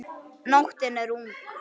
Nóttin er ung